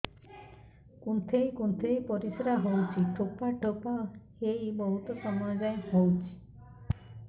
କୁନ୍ଥେଇ କୁନ୍ଥେଇ ପରିଶ୍ରା ହଉଛି ଠୋପା ଠୋପା ହେଇ ବହୁତ ସମୟ ଯାଏ ହଉଛି